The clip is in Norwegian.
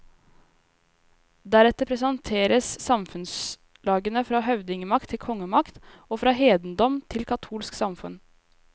Deretter presenteres samfunnslagene fra høvdingmakt til kongemakt, og fra hedendom til katolsk samfunn.